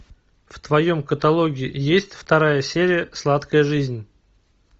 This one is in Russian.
в твоем каталоге есть вторая серия сладкая жизнь